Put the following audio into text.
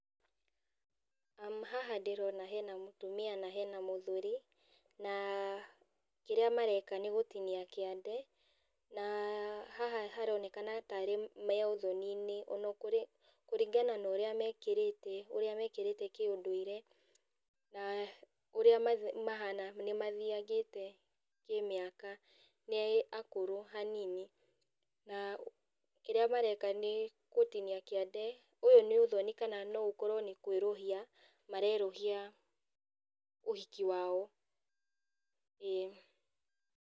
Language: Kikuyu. Haha ndĩrona hena mũtumia na hena mũthuri, na kĩrĩa mareka nĩgũtinia kĩande, na haha haronekana tarĩ me ũthoninĩ ona kũrĩ kuringana na ũrĩa mekĩrĩte, ũrĩa mekĩrĩte kĩũndũire, na ũrĩa ma mahana nĩmathiangĩte kĩmĩaka, nĩ akũrũ hanini na kĩrĩa mareka nĩ gũtinia kĩande, ũyũ nĩ ũthoni kana no ũkorwo nĩ kwerũhia marerũhia ũhiki wao, ĩĩ.